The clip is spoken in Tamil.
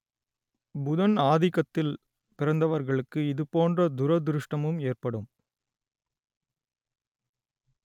புதன் ஆதிக்கத்தில் பிறந்தவர்களுக்கு இதுபோன்ற துரதிருஷ்டமும் ஏற்படும்